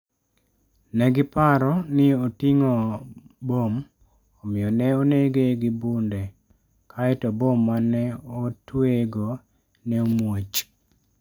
Ne giparo ni oting'o bom, omiyo ne onege gi bunde, kae to bom ma ne otweyego ne omuoch.